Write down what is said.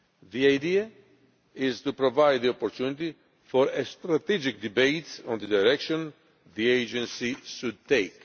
The idea is to provide the opportunity for a strategic debate on the direction the agency should take.